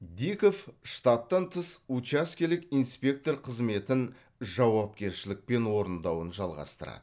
диков штаттан тыс учаскелік инспектор қызметін жауапкершілікпен орындауын жалғастырады